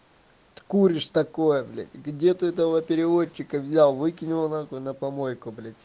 ты куришь такое блять где ты этого переводчика взял выкинь его нахуй на помойку с